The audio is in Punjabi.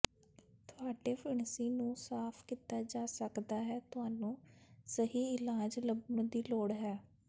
ਤੁਹਾਡੇ ਫਿਣਸੀ ਨੂੰ ਸਾਫ ਕੀਤਾ ਜਾ ਸਕਦਾ ਹੈ ਤੁਹਾਨੂੰ ਸਹੀ ਇਲਾਜ ਲੱਭਣ ਦੀ ਲੋੜ ਹੈ